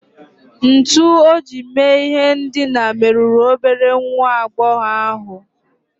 Ntu o ji mee ihe ndina merụrụ obere nwa agbọghọ ahụ